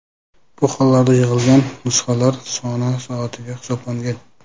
Bu holarda yig‘ilgan nusxalar soni soatiga hisoblangan.